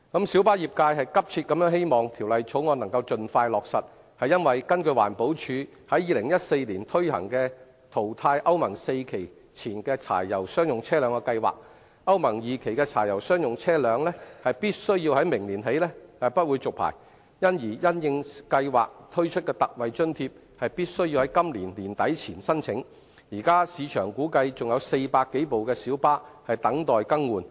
小巴業界急切希望《條例草案》能夠盡快落實，是因為根據環保署2014年推行的淘汰歐盟 IV 期以前柴油商業車輛的計劃，歐盟 II 期的柴油商業車輛在明年起將不獲續牌，而因應計劃推出的特惠津貼，必須在今年年底前申請，現時估計市場還有400多輛小巴等待更換。